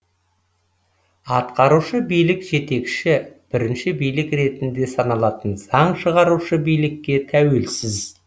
атқарушы билік жетекші бірінші билік ретінде саналатын заң шығарушы билікке тәуелсіз